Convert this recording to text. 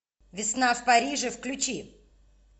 весна в париже включи